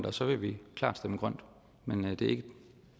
og så vil vi klart stemme for men